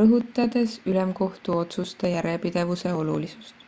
rõhutades ülemkohtu otsuste järjepidevuse olulisust